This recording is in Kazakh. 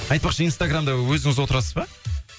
айтпақшы интсаграмда өзіңіз отырасыз ба